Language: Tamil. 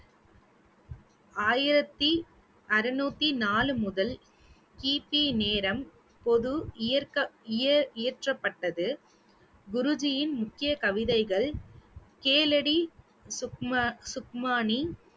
ஆயிரத்தி அறுநூத்தி நாலு முதல் கிபி நேரம் பொது இயற்~ இயற்றப்பட்டது குருஜியின் முக்கிய கவிதைகள் கேளடி சுக்ம~ சுக்மானி